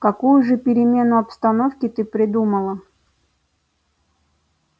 какую же перемену обстановки ты придумала